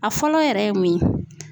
A fɔlɔ yɛrɛ ye mun ye?